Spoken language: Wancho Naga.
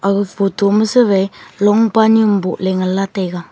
aga photo ma suwai longpa nyu am boh ngan taiga.